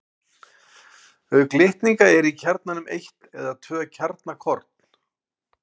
Auk litninga eru í kjarnanum eitt eða tvö kjarnakorn.